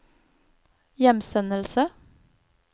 hjemsendelse